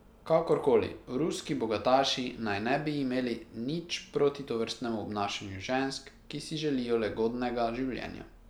Kakorkoli, ruski bogataši naj ne bi imeli nič proti tovrstnem obnašanju žensk, ki si želijo lagodnega življenja.